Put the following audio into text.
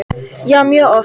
Já mjög oft.